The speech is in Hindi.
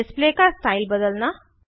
डिस्प्ले का स्टाइल बदलना